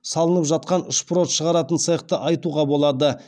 салынып жатқан шпрот шығаратын цехті айтуға болады